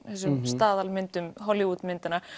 staðalmyndum Hollywood myndanna